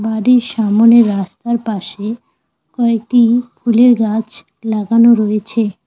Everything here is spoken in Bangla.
বাড়ির সামোনে রাস্তার পাশে কয়েকটি ফুলের গাছ লাগানো রয়েছে।